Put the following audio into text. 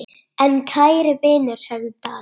En kæri vinur, sagði Daði.